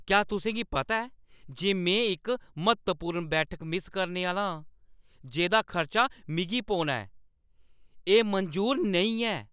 क्या तुसें गी पता ऐ जे में इक म्हत्तवपूर्ण बैठक मिस करने आह्‌ला आं जेह्दा खर्चा मिगी पौना ऐ? एह् मंजूर नेईं ऐ।